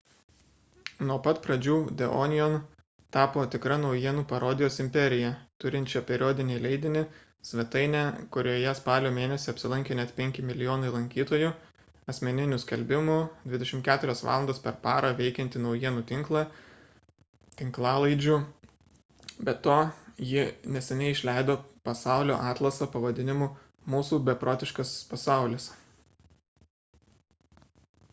nuo pat pradžių the onion tapo tikra naujienų parodijos imperija turinčia periodinį leidinį svetainę kurioje spalio mėnesį apsilankė net 5 mln lankytojų asmeninių skelbimų 24 valandas per parą veikiantį naujienų tinklą tinklalaidžių be to ji neseniai išleido pasaulio atlasą pavadinimu mūsų beprotiškas pasaulis